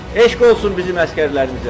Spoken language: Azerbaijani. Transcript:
Eşq olsun bizim əsgərlərimizə!